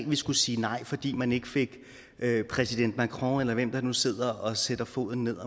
vi skulle sige nej fordi man ikke fik præsident macron eller hvem der nu sidder og sætter foden ned